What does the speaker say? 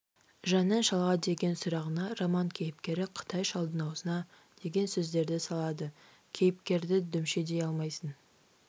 жанның шалға деген сұрағына роман кейіпкері қытай шалдың аузына деген сөздерді салады кейіпкерді дүмше дей алмайсың